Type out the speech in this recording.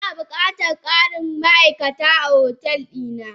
Ina bukatan karin ma'aikata a otel dina.